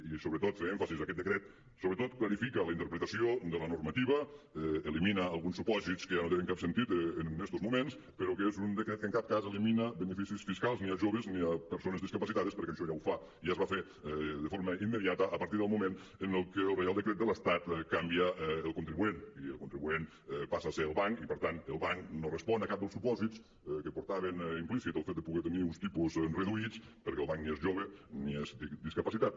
i sobretot fer èmfasi que aquest decret sobretot clarifica la interpretació de la normativa elimina alguns supòsits que ja no tenen cap sentit en estos moments però que és un decret que en cap cas elimina beneficis fiscals ni als joves ni a persones discapacitades perquè això ja ho fa i ja es va fer de forma immediata a partir del moment en què el reial decret de l’estat canvia el contribuent i el contribuent passa a ser el banc i per tant el banc no res·pon a cap dels supòsits que portava implícit el fet de poder tenir uns tipus reduïts perquè el banc ni és jove ni és discapacitat